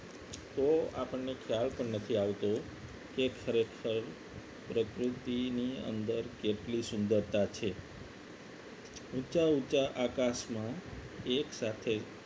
તો આપણને ખ્યાલ પણ નથી આવતો કે ખરેખર પ્રકૃતિની અંદર કેટલી સુંદરતા છે ઊંચા ઊંચા આકાશમાં એક સાથે